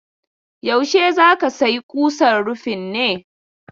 Yaushe za ka sayi kusan rufin ne?